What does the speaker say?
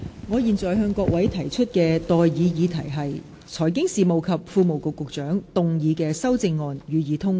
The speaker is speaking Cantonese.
我現在向各位提出的待議議題是：財經事務及庫務局局長動議的修正案，予以通過。